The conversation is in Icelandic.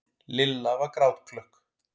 Lilla var grátklökk.